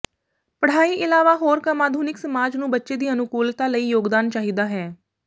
ਪੜ੍ਹਾਈ ਇਲਾਵਾ ਹੋਰ ਕੰਮ ਆਧੁਨਿਕ ਸਮਾਜ ਨੂੰ ਬੱਚੇ ਦੀ ਅਨੁਕੂਲਤਾ ਲਈ ਯੋਗਦਾਨ ਚਾਹੀਦਾ ਹੈ